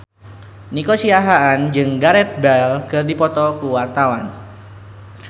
Nico Siahaan jeung Gareth Bale keur dipoto ku wartawan